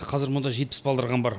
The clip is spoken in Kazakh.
қазір мұнда жетпіс балдырған бар